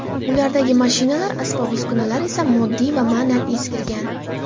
Ulardagi mashinalar, asbob-uskunalar esa moddiy va ma’nan eskirgan.